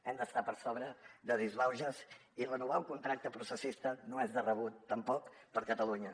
hem d’estar per sobre de disbauxes i renovar un contracte processista no és de rebut tampoc per a catalunya